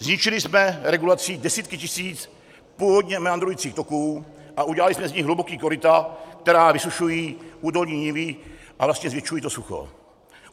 Zničili jsme regulací desítky tisíc původně meandrujících toků a udělali jsme z nich hluboká koryta, která vysušují údolní nivy a vlastně zvětšují to sucho.